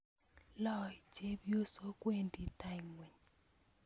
Loei chepyosok, wendi tai ngweny